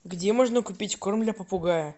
где можно купить корм для попугая